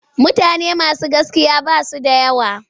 Mutane masu gaskiya ba su da yawa.